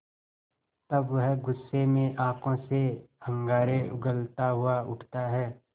तब वह गुस्से में आँखों से अंगारे उगलता हुआ उठता है